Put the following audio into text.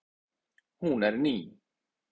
Hún er ný.